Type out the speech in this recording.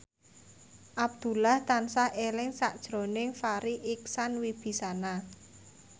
Abdullah tansah eling sakjroning Farri Icksan Wibisana